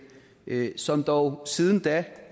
som dog siden da